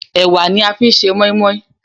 Ẹ̀wà ni a fi ń se mọ́ímọ́í